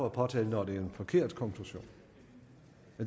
at påtale når det er en forkert konklusion